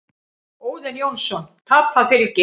Óðinn Jónsson: Tapað fylgi.